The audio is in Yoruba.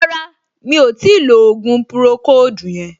Rárá, mi ò tíì lo ògùn pùròkóòdù yẹn